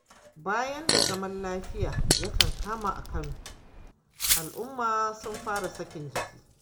Bayan da zaman lafiya ya kankama a Kano, al'umma sun fara sakin jiki.